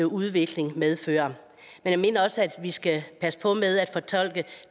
udvikling medfører men jeg mener også at vi skal passe på med at fortolke